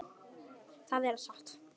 Það gerum við öll.